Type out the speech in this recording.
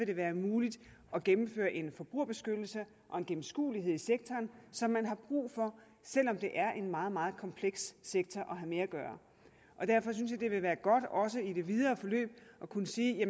det være muligt at gennemføre en forbrugerbeskyttelse og en gennemskuelighed i sektoren som man har brug for selv om det er en meget meget kompleks sektor at have med at gøre derfor synes jeg det vil være godt også i det videre forløb at kunne sige at